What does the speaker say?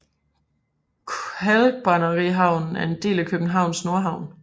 Kalkbrænderihavnen er en del af Københavns Nordhavn